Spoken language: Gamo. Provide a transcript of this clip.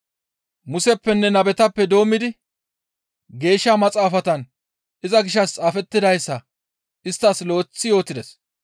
Museppenne nabetappe doommidi Geeshsha Maxaafatan iza gishshas xaafettidayssa isttas lo7eththi yootides.